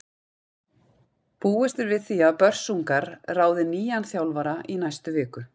Búist er við því að Börsungar ráði nýjan þjálfara í næstu viku.